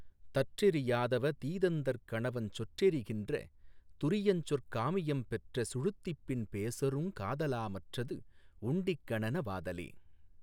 தற்றெரி யாதவ தீதந்தற் கணவஞ் சொற்றெரி கின்ற துரியஞ்சொற் காமியம் பெற்ற சுழுத்திப்பின் பேசுறுங் காதலா மற்றது வுண்டிக் கனநன வாதலே.